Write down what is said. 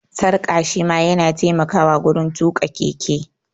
Sarƙa shi ma ya na taimakawa wurin tuƙa keke